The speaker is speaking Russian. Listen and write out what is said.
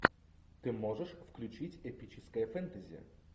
ты можешь включить эпическое фэнтези